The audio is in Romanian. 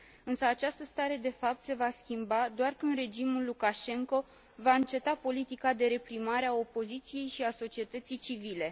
Însă această stare de fapt se va schimba doar când regimul Lukașenko va înceta politica de reprimare a opoziției și a societății civile.